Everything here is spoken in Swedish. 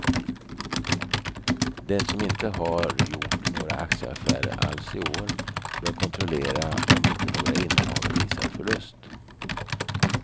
Den som inte har gjort några aktieaffärer alls i år bör kontrollera om inte några innehav visar förlust.